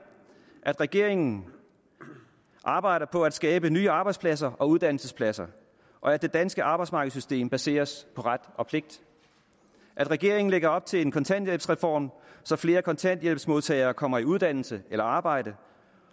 at regeringen arbejder på at skabe nye arbejdspladser og uddannelsespladser og at det danske arbejdsmarkedssystem baseres på ret og pligt at regeringen lægger op til en kontanthjælpsreform så flere kontanthjælpsmodtagere kommer i uddannelse eller arbejde